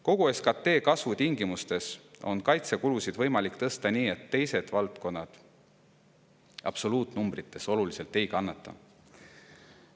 Kogu SKT kasvu tingimustes on kaitsekulusid võimalik tõsta nii, et teised valdkonnad absoluutnumbrites oluliselt ei kannata.